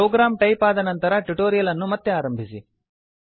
program type ಆದ ನಂತರ tutorial ಅನ್ನು ಮತ್ತೆ ಆರಂಭಿಸಿ